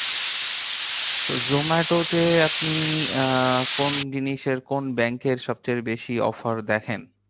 তো zomato তে আপনি আহ কোন জিনিসের? কোন bank এর সবচেয়ে বেশি offer দেখেন?